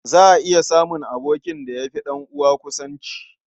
Za a iya samun abokin da ya fi ɗan'uwa kusanci.